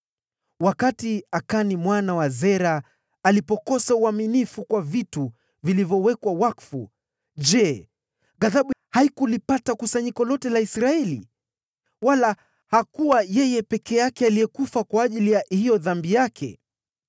Wakati Akani mwana wa Zera alipokosa uaminifu kwa vitu vilivyowekwa wakfu, je, ghadhabu haikulipata kusanyiko lote la Israeli? Hakuwa yeye peke yake aliyekufa kwa ajili ya dhambi yake.’ ”